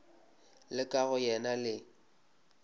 la ka go yena le